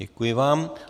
Děkuji vám.